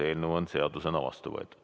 Eelnõu on seadusena vastu võetud.